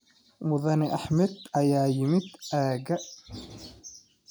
Mudane Axmed ayaa yimid aagga.